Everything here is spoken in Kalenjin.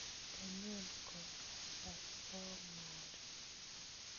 Kanyon kokatan bomori